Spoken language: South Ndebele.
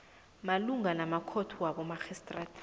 malungana namakhotho wabomarhistrada